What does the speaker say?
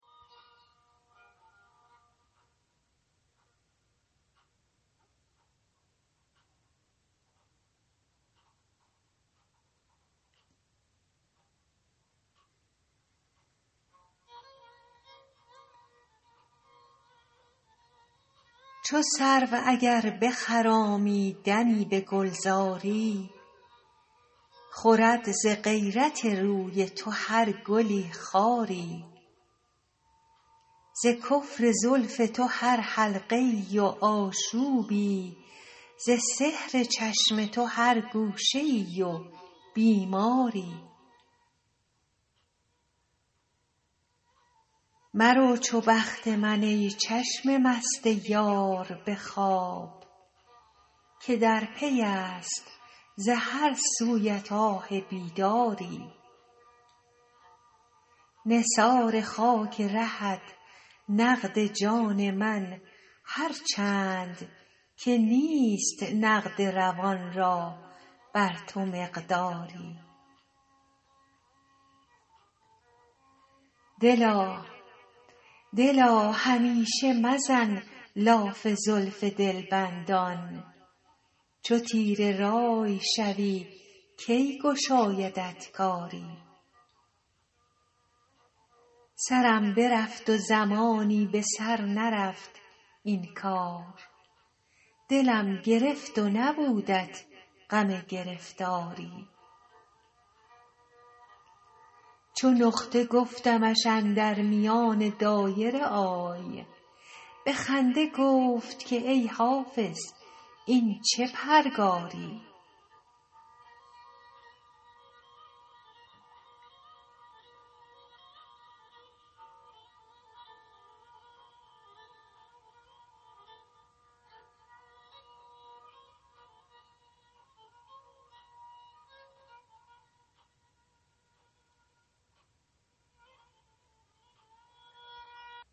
چو سرو اگر بخرامی دمی به گلزاری خورد ز غیرت روی تو هر گلی خاری ز کفر زلف تو هر حلقه ای و آشوبی ز سحر چشم تو هر گوشه ای و بیماری مرو چو بخت من ای چشم مست یار به خواب که در پی است ز هر سویت آه بیداری نثار خاک رهت نقد جان من هر چند که نیست نقد روان را بر تو مقداری دلا همیشه مزن لاف زلف دلبندان چو تیره رأی شوی کی گشایدت کاری سرم برفت و زمانی به سر نرفت این کار دلم گرفت و نبودت غم گرفتاری چو نقطه گفتمش اندر میان دایره آی به خنده گفت که ای حافظ این چه پرگاری